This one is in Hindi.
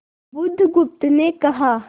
बुधगुप्त ने कहा